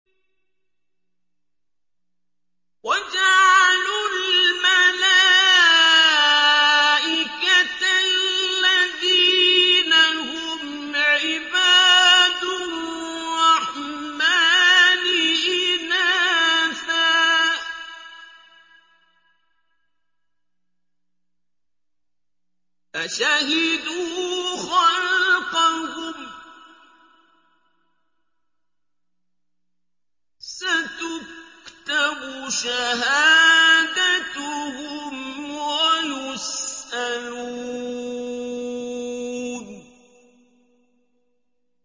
وَجَعَلُوا الْمَلَائِكَةَ الَّذِينَ هُمْ عِبَادُ الرَّحْمَٰنِ إِنَاثًا ۚ أَشَهِدُوا خَلْقَهُمْ ۚ سَتُكْتَبُ شَهَادَتُهُمْ وَيُسْأَلُونَ